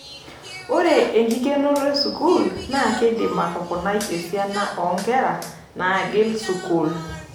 Ore enkikenoto e sukuul na keidim atoponai esiana oo nkera naagil sukuul.